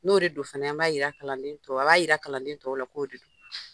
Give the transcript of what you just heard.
N'o de do fana an b'a yira kalanden tɔ a b'a yira kalanden tɔw la k'o de do.